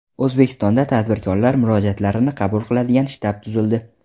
O‘zbekistonda tadbirkorlar murojaatlarini qabul qiladigan shtab tuzildi.